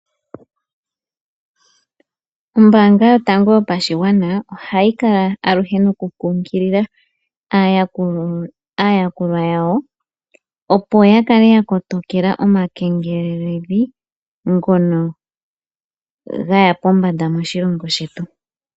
Ombanga yotango yopashingwana ohayikala aluhe nokukunkilila aayakulwa yawo opo ya kale yakotokela omakengelelo ngono ngaya pombanda moshilongo shetu.